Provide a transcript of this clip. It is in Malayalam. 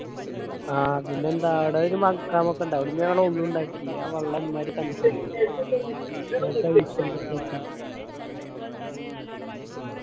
ആ പിന്നെന്താ ആട ഒരു മക്കാമത്ത് ഇണ്ട് അവിടുന്ന് ഞങ്ങൾ ഓളു ഇണ്ടാക്കി. ആ വെള്ളം എമ്മായിരി തണുപ്പ് അറിയോ